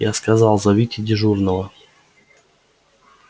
я сказал зовите дежурного